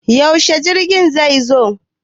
Yaushe jirgin zai zo?